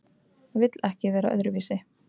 Vill ekki vera öðruvísi.